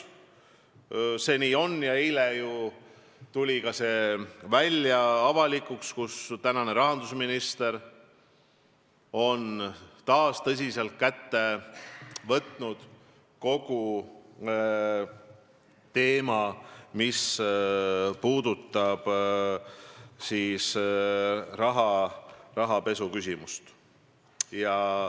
Eile tuli avalikuks, et tänane rahandusminister on taas tõsiselt käsile võtnud rahapesuteema.